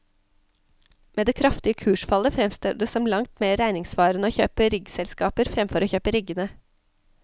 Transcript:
Med det kraftige kursfallet fremstår det som langt mer regningssvarende å kjøpe riggselskaper fremfor å kjøpe riggene.